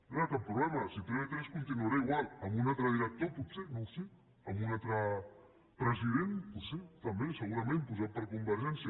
no hi ha cap problema si tv3 continuarà igual amb un altre director potser no ho sé amb un altre president potser també segurament posat per convergència